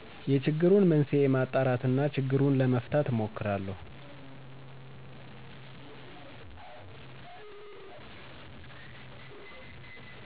የችግሩን መንስዔ ማጣራት እና ችግሩን ለመፍታት እሞክራለሁ